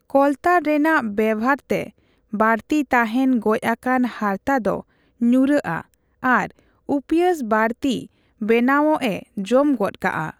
ᱠᱚᱞᱛᱟᱨ ᱨᱮᱱᱟᱜ ᱵᱮᱵᱷᱟᱨ ᱛᱮ ᱵᱟᱹᱲᱛᱤ ᱛᱟᱦᱮᱸᱱ ᱜᱚᱡ ᱟᱠᱟᱱ ᱦᱟᱨᱛᱟ ᱫᱚ ᱧᱩᱨᱩᱜᱼᱟ ᱟᱨ ᱩᱯᱭᱟᱺᱥ ᱵᱟᱹᱲᱛᱤ ᱵᱮᱱᱟᱣᱜ ᱮ ᱡᱚᱢ ᱜᱚᱫ ᱠᱟᱜᱼᱟ ᱾